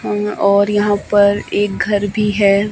और यहां पर एक घर भी है।